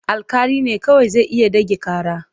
Alƙali ne kawai zai iya ɗage ƙara.